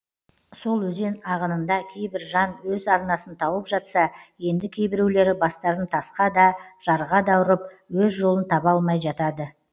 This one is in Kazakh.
сол өзен ағынында кейбір жан өз арнасын тауып жатса енді кейбіреулері бастарын тасқа да жарға да ұрып өз жолын таба алмай жатады